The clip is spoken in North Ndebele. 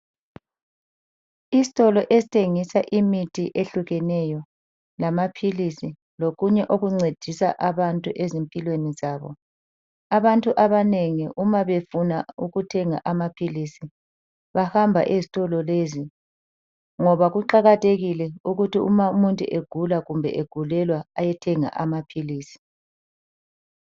Isitolo esithengisa imithi ehlukekeneyo lamaphilisi lokunye okuncedisa abantu ezimpilweni zabo. Abantu abanengi nxa befuna ukuthenga amaphilisi bahamba ezitolo lezi ngoba kuqakathekile ukuthi uma umuntu egula loba egulelwa ahambe ayethenga amaphilisi.